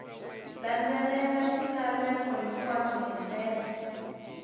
landzelela swilaveko hinkwaswo hi ndlela